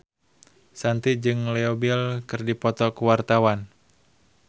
Shanti jeung Leo Bill keur dipoto ku wartawan